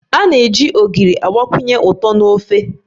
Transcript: A na-eji Ogiri agbakwunye ụtọ na ofe